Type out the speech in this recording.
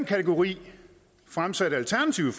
kategori fremsatte alternativet